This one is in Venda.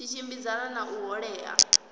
tshi tshimbidzana na ṱho ḓea